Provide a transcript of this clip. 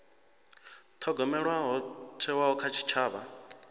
thogomelwa ho thewaho kha tshitshavha